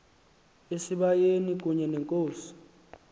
esibayeni kunye nenkosi